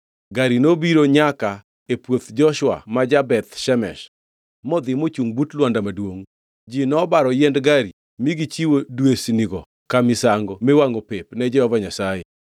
Gari nobiro nyaka e puoth Joshua ma ja-Beth Shemesh, modhi mochungʼ but lwanda maduongʼ. Ji nobaro yiend gari mi gichiwo dwesnigo ka misango miwangʼo pep ne Jehova Nyasaye.